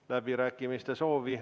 Kohtumiseni Riigikogu istungil homme.